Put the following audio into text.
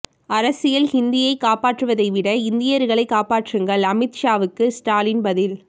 அரசியல் ஹிந்தியை காப்பாற்றுவதைவிட இந்தியர்களை காப்பாற்றுங்கள் அமித் ஷாவுக்கு ஸ்டாலின் பதில்